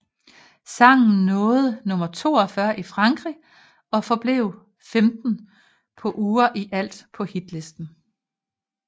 Sangen nåede nummer 42 i Frankrig og forblev femten uger i alt på hitlisterne